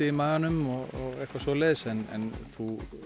í maganum og eitthvað svoleiðs en þú